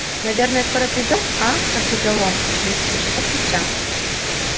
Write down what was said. наверное скоро придём а прохрипел рон ещё несколько часов спустя